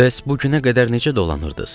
Bəs bu günə qədər necə dolanırdız?